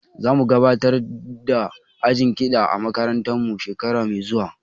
Za mu gabatar da ajin kiɗa a makarantar mu shekara mai zuwa